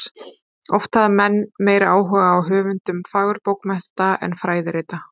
Oft hafa menn meiri áhuga á höfundum fagurbókmennta en fræðirita.